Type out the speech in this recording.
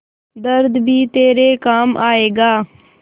दर्द भी तेरे काम आएगा